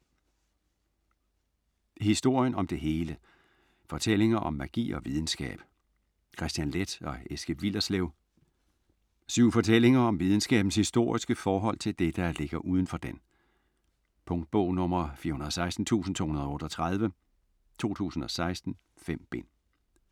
Historien om det hele: fortællinger om magi og videnskab Kristian Leth og Eske Willerslev Syv fortællinger om videnskabens historiske forhold til det, der ligger udenfor den. Punktbog 416238 2016. 5 bind.